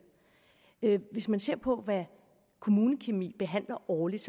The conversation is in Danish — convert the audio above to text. hvis man ser på hvad kommunekemi behandler årligt